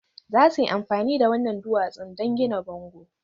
Za su yi amfani da waɗannan duwatsun don gina bango